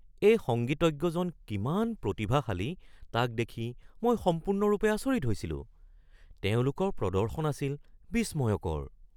এই সংগীতজ্ঞজন কিমান প্ৰতিভাশালী তাক দেখি মই সম্পূৰ্ণৰূপে আচৰিত হৈছিলো। তেওঁলোকৰ প্ৰদৰ্শন আছিল বিস্ময়কৰ